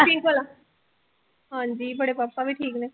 ਹਾਂਜੀ ਬੜੇ ਪਾਪਾ ਵੀ ਠੀਕ ਨੇ